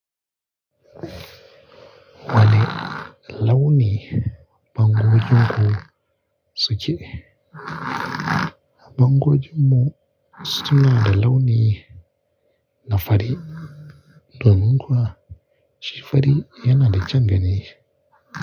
Wane launi bangogin ku suke? Bangogin mu suna da launi na fari domin kuwa shi fari yana da kyaun gani.